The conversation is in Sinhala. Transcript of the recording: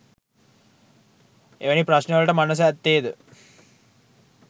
එවැනි ප්‍රශ්නවලට මනස ඇත්තේ ද